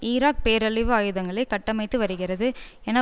Iraq பேரழிவு ஆயுதங்களை கட்டமைத்து வருகிறது என